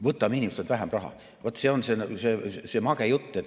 Võtame inimestelt vähem raha – vaat see on mage jutt.